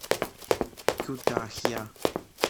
кютахья